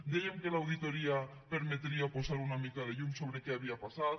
dèiem que l’auditoria permetria posar una mica de llum sobre què havia passat